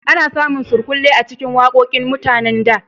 A na samun surkulle a cikin waƙoƙin mutanen da